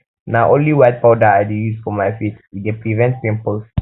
na only white powder i dey use for my face e dey prevent pimples